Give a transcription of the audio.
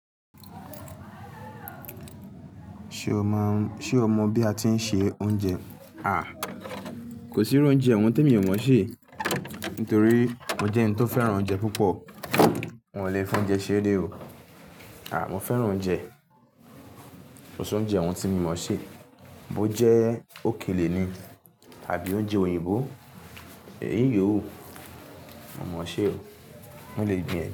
Ṣé o mọ bí a ti ń se oúnjẹ? À, kò sí irú oúnjẹ ọ̀hún tí mi ò mọ̀ sẹ̀ Nítorí mo jẹ́ ẹni tó fẹ́ràn oúnjẹ púpọ̀. Hun o lè fún ọúnjẹ ṣéré o. À, mo fẹ́ran oúnjẹ. Kò sí oúnjẹ ọ̀hún tí mo mọ̀ sí. Bó jẹ́ òkèlè ni àbí oúnjẹ òyìnbó? Èyí yòó, mo mọ̀ sé o. Wọn le gbin ẹ̀